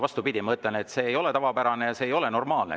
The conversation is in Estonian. Vastupidi, ma ütlen, et see ei ole tavapärane ja see ei ole normaalne.